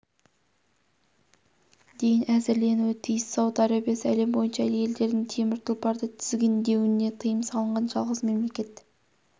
дейін әзірленуі тиіс сауд арабиясы әлем бойынша әйелдердің темір тұлпарды тізгіндеуіне тыйым салынған жалғыз мемлекет